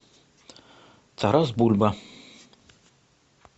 тарас бульба